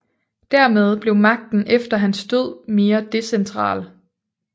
Dermed blev magten efter hans død mere decentral